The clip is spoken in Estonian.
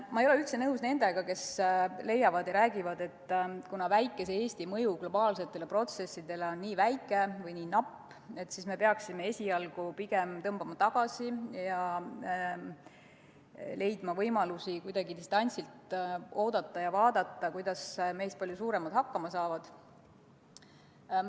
Ma ei ole üldse nõus nendega, kes räägivad, et kuna väikese Eesti mõju globaalsetele protsessidele on nii väike või nii napp, siis me peaksime esialgu pigem tõmbuma tagasi ja leidma võimalusi kuidagi distantsilt oodata ja vaadata, kuidas meist palju suuremad hakkama saavad.